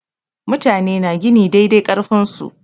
Mutane na gini dai dai ƙarfin su.